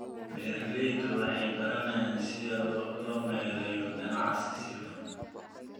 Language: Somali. Beeraleydu waxay baranayaan sida loo maareeyo ganacsiga si hufan.